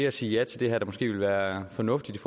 at sige ja til det her der måske ville være fornuftigt i